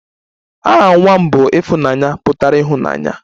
Aha nwa m bụ 'Ifunanya' pụtara ịhụnanya